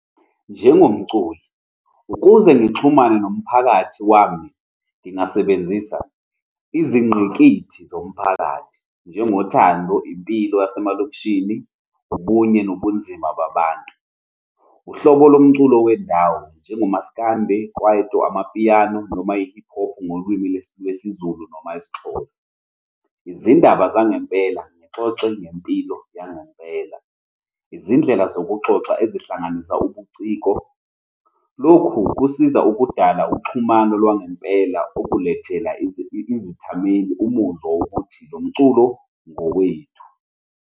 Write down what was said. Njengomculi, ukuze ngixhumane nomphakathi wami, ngingasebenzisa izingqikithi zomphakathi njengothando, impilo yasemalokishini, ubunye nobunzima babantu, uhlobo lomculo wendawo, njengomaskandi, i-kwaito, amapiyano noma i-hip hop ngolwimi lwesiZulu noma isiXhoza, izindaba zangempela, ngixoxe ngempilo yangempela, izindlela zokuxoxa ezihlanganisa ubuciko. Lokhu kusiza ukudala uxhumano lwangempela okukulethela izithameli umuzwa wokuthi lo mculo ngowethu.